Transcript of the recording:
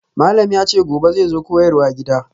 Malam yace gobe zai zo koyarwa gida.